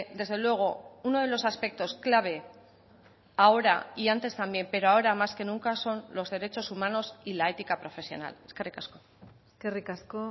desde luego uno de los aspectos clave ahora y antes también pero ahora más que nunca son los derechos humanos y la ética profesional eskerrik asko eskerrik asko